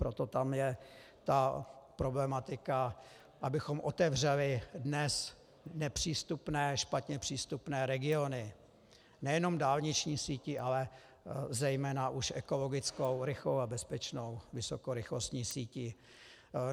Proto tam je ta problematika, abychom otevřeli dnes nepřístupné, špatně přístupné regiony nejenom dálniční sítí, ale zejména už ekologickou, rychlou a bezpečnou vysokorychlostní sítí.